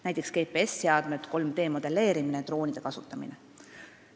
Näiteks GPS-seadmed, 3D-modelleerimine ja droonide kasutamine.